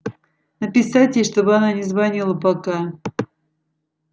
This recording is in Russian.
написать ей чтобы она не звонила пока